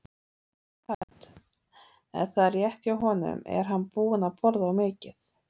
Hödd: Er það rétt hjá honum, er hann búinn að borða of mikið?